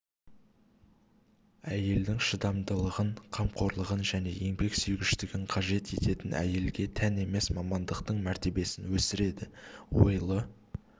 әйелдің шыдамдылығын қамқорлығын және еңбексүйгіштігін қажет ететін әйелге тән емес мамандықтың мәртебесін өсіреді ойлы